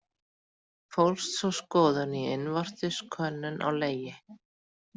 Fólst sú skoðun í innvortis könnun á legi.